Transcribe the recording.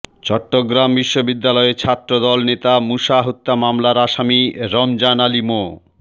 চট্টগ্রাম বিশ্ববিদ্যালয়ে ছাত্রদল নেতা মুসা হত্যা মামলার আসামি রমজান আলী মো